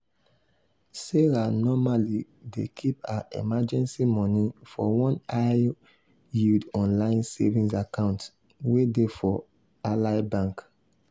sarah normally dey keep her emergency money for one high-yield online savings account wey dey for ally bank.